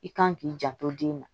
I kan k'i janto den na